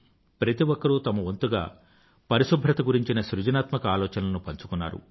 ప్రతి ఒక్కరూ తమ వంతుగా పరిశుభ్రత గురించిన సృజనాత్మక ఆలోచనలను పంచుకున్నారు